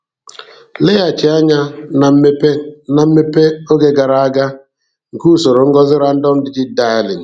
leghachi anya na mmepe na mmepe oge gara aga nke usoro ngosi random-digit-dialing.